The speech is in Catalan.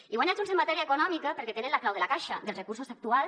i guanya junts en matèria econòmica perquè tenen la clau de la caixa dels recursos actuals